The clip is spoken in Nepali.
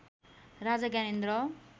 राजा ज्ञानेन्द्र